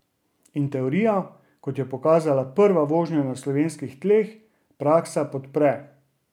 In teorijo, kot je pokazala prva vožnja na slovenskih tleh, praksa podpre.